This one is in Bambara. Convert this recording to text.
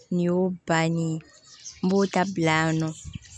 Nin y'o bannen ye n b'o ta bila yan nɔ